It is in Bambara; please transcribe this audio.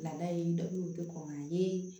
Ladala ye dɔ bɛ kɔn a ye